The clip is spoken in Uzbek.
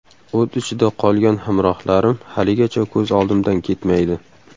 O‘t ichida qolgan hamrohlarim haligacha ko‘z oldimdan ketmaydi.